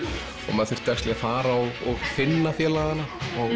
maður þurfti að fara og finna félagana